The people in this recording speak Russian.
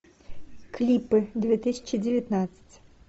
клипы две тысячи девятнадцать